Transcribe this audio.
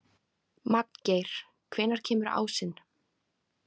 Magngeir, hvenær kemur ásinn?